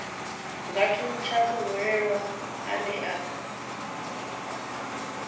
nga thuntsha muhwelelwa ane a